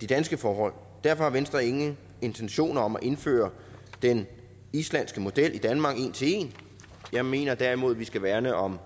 de danske forhold derfor har venstre ingen intentioner om at indføre den islandske model i danmark en til en jeg mener derimod vi skal værne om